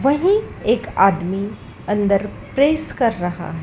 वहीं एक आदमी अंदर प्रेस कर रहा--